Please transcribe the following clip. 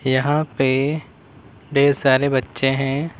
यहां पे ढ़ेर सारे बच्चे हैं।